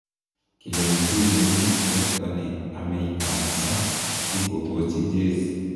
kilenji Rooney werto ne amei kansa si kokochi jezi.